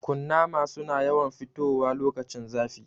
Kunnama su na yawan fitowa lokacin zafi